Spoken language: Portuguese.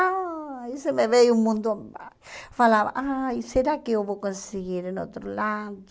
Aí se me veio um mundo... Falava, aí será que eu vou conseguir em outro lado?